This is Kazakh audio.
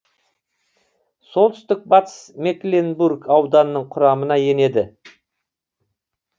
солтүстик батыс мекленбург ауданының құрамына енеді